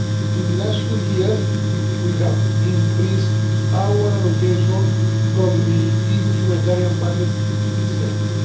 In the last few years we have increased our allocation from the EU humanitarian budget to this sector.